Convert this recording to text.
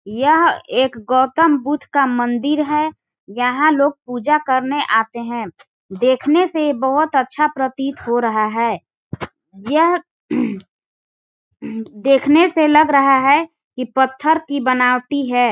यह एक गौतम बुद्ध का मंदिर है यहाँ लोग पूजा करने आते है देखने से ये बहोत अच्छा प्रतीत हो रहा है यह देखने से लग रहा है की पत्थर की बनावटी हैं।